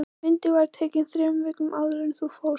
Myndin var tekin þremur vikum áður en hún fórst